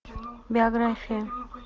биография